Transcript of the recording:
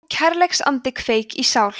þú kærleiksandi kveik í sál